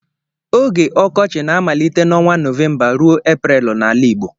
Oge ọkọchị na-amalite n’ọnwa Nọvemba ruo Eprel n’ala Igbo.